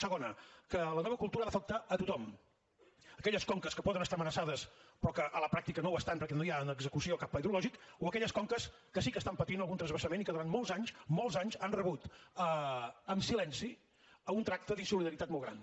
segona que la nova cultura ha d’afectar tothom aquelles conques que poden estar amenaçades però que a la pràctica no ho estan perquè no hi ha en execució cap pla hidrològic o aquelles conques que sí que pateixen algun transvasament i que durant molts anys molts anys han rebut amb silenci un tracte d’insolidaritat molt gran